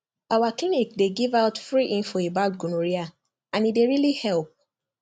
our clinic dey give out free info about gonorrhea and e dey really help